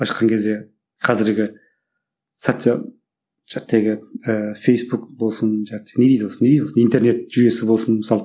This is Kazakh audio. былайша айтқан кезде қазіргі социал фейсбук болсын не дейді осы не дейді осы интернет жүйесі болсын мысалы